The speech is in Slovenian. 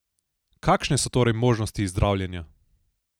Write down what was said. Kakšne so torej možnosti zdravljenja?